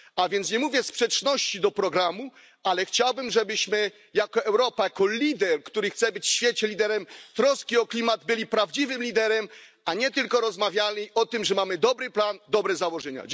A więc nie mówię w sprzeczności do programu, ale chciałbym, żebyśmy jako Europa, która chce być światowym liderem troski o klimat, byli prawdziwym liderem, a nie tylko rozmawiali o tym, że mamy dobry plan, dobre założenia.